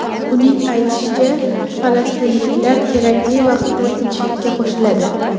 Uning aytishicha, falastinliklar kerakli vaqtda tinchlikka qo‘shiladi.